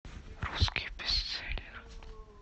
русский бестселлер